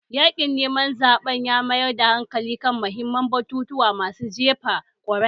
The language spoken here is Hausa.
Yaƙin neman zaɓen ya mayar da hankali kan muhimman batutuwan masu jefa kuri'a